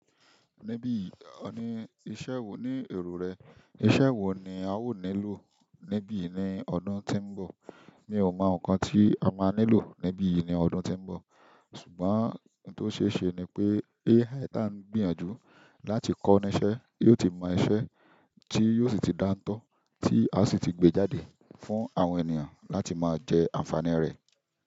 Ní bíi ọ̀ ní iṣẹ́ wo, ní èrò rẹ iṣẹ́ wo ni a ó nílò níbí ní ọdún tí ń bọ̀? Mi ò mọ nǹkan tí a máa nílò níbí ní ọdún tí ń bọ̀, ṣùgbọ́n ohun tó ṣe é ṣe ni pé èyí ta ń gbìyànjú láti kọ́ni iṣẹ́ yóò ti mọ iṣẹ́ tí yóò sì ti dáńtọ́, tí a sì ti gbé jáde fún àwọn ènìyàn láti máa jẹ àǹfààní rẹ̀.